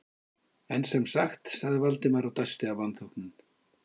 En sem sagt- sagði Valdimar og dæsti af vanþóknun.